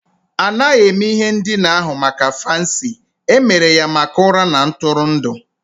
A naghị eme ihe ndina ahụ maka fancy, e mere ya maka ụra na ntụrụndụ